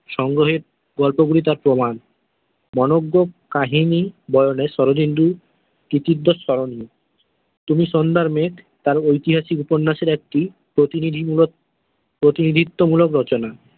সংগ্রহে গল্পগুলি তাঁর প্রমান কাহিনী বরনে শরদিন্দু কৃতিত্বের স্মরণী তুমি সন্ধ্যার মেঘ তাঁর ঐতিহাসিক উপন্যাসের একটি প্রতনিধি মূলক প্রতিনিধ্বত্ব মূলক রচনা।